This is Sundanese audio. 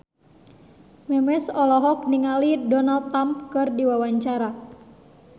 Memes olohok ningali Donald Trump keur diwawancara